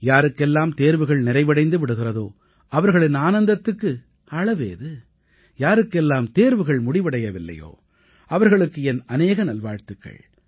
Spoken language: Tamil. யாருக்கெல்லாம் தேர்வுகள் நிறைவடைந்து விடுகிறதோ அவர்களின் ஆனந்தத்துக்கு அளவேது யாருக்கெல்லாம் தேர்வுகள் முடிவடையவில்லையோ அவர்களுக்கு என் அநேக நல்வாழ்த்துக்கள்